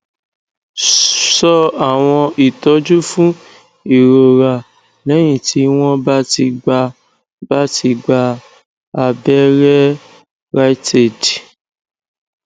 so àwọn itoju fun ìrora lẹyìn tí wọn bá ti gba bá ti gba aberẹ riteaid